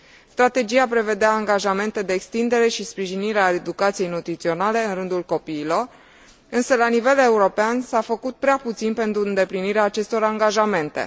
Strategia prevedea angajamente de extindere și sprijinire a educației nutriționale în rândul copiilor, însă la nivel european s a făcut prea puțin pentru îndeplinirea acestor angajamente.